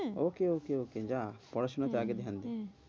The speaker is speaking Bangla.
okay okay okay যা পড়াশুনা তে আগে ধ্যান দে।